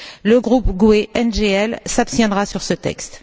le groupe GUE NGL s'abstiendra sur ce texte.